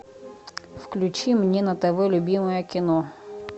включи мне на тв любимое кино